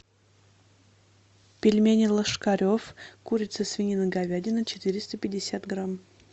пельмени ложкарев курица свинина говядина четыреста пятьдесят грамм